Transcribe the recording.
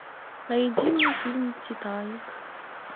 найди мне фильм титаник